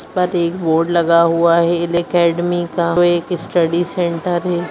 जिस पर एक बोर्ड लगा हुआ है एल अकैडमी का वो एक स्टडी सेंटर है।